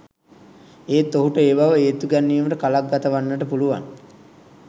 එත් ඔහුට ඒ බව ඒත්තු ගැන්වීමට කලක් ගත වන්නට පුළුවන්